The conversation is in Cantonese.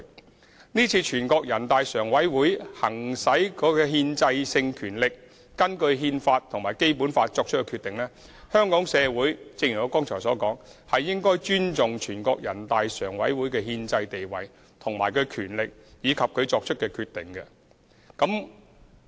因此，對於全國人大常委會今次行使其憲制性權力，根據《中華人民共和國憲法》和《基本法》作出決定，正如我剛才所說，香港社會是應該尊重全國人大常委會的憲制地位、權力及其所作決定的。